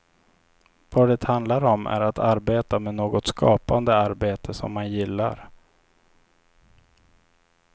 Vad det handlar om är att arbeta med något skapande arbete som man gillar.